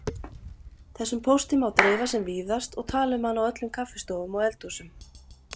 Þessum pósti má dreifa sem víðast og tala um hann á öllum kaffistofum og eldhúsum.